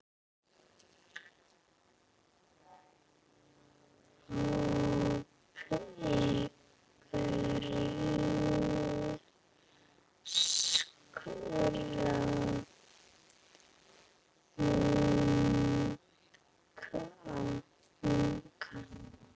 hópi grískra munka.